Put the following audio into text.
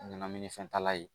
Ɲanaminifɛntala ye